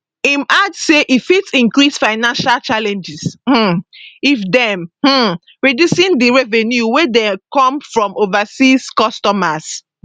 im add say e fit increase financial challenges um if dem um reducing di revenue wey dey come from overseas customers